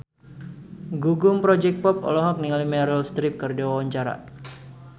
Gugum Project Pop olohok ningali Meryl Streep keur diwawancara